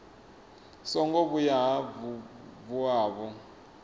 songo vhuya vha vuwa vho